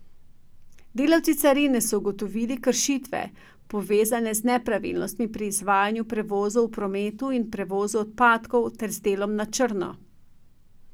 Delavci carine so ugotovili kršitve, povezane z nepravilnostmi pri izvajanju prevozov v prometu in prevozu odpadkov ter z delom na črno.